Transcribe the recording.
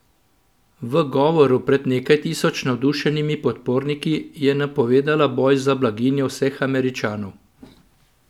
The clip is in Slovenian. V govoru pred nekaj tisoč navdušenimi podporniki je napovedala boj za blaginjo vseh Američanov.